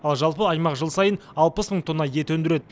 ал жалпы аймақ жыл сайын алпыс мың тонна ет өндіреді